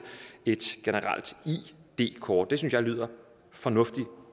et generelt id kort det synes jeg lyder fornuftigt